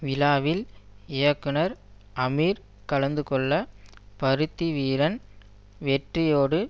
விழாவில் இயக்குனர் அமீர் கலந்துகொள்ள பருத்தி வீரன் வெற்றியோடு